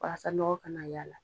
Walasa nɔgɔ kana y'a la.